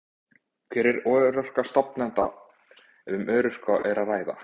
Hver er örorka stefnanda, ef um örorku er að ræða?